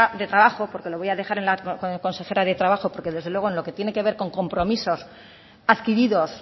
de trabajo porque lo voy a dejar en con la consejera de trabajo porque desde luego en lo que tiene que ver con compromisos adquiridos